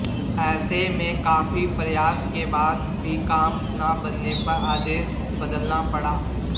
ऐसे में काफी प्रयास के बाद भी काम न बनने पर आदेश बदलना पड़ा